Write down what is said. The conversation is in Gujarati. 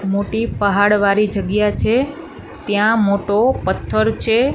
મોટી પાહાડ વાડી જગ્યા છે ત્યાં મોટો પથ્થર છે.